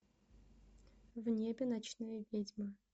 в небе ночные ведьмы